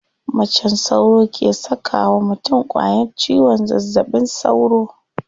Macen sauro ke saka wa mutum ƙwayan ciwon zazzaɓin sauro.